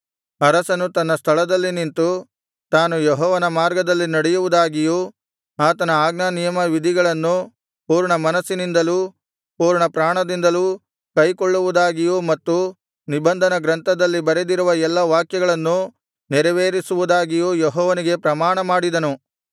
ಅರಸನು ತನ್ನ ಸ್ಥಳದಲ್ಲಿ ನಿಂತು ತಾನು ಯೆಹೋವನ ಮಾರ್ಗದಲ್ಲಿ ನಡೆಯುವುದಾಗಿಯೂ ಆತನ ಆಜ್ಞಾನಿಯಮ ವಿಧಿಗಳನ್ನು ಪೂರ್ಣಮನಸ್ಸಿನಿಂದಲೂ ಪೂರ್ಣಪ್ರಾಣದಿಂದಲೂ ಕೈಕೊಳ್ಳುವುದಾಗಿಯೂ ಮತ್ತು ನಿಬಂಧನ ಗ್ರಂಥದಲ್ಲಿ ಬರೆದಿರುವ ಎಲ್ಲಾ ವಾಕ್ಯಗಳನ್ನು ನೆರವೇರಿಸುವುದಾಗಿಯೂ ಯೆಹೋವನಿಗೆ ಪ್ರಮಾಣಮಾಡಿದನು